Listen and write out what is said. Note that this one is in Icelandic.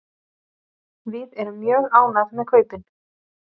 Við erum mjög ánægð með kaupin.